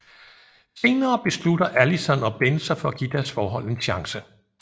Senere beslutter Allison og Ben sig for at give deres forhold en chance